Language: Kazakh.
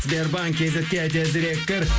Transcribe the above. сбербанк кейзетке тезірек кір